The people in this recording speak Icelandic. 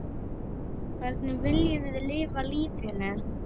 Hvernig viljum við lifa lífinu?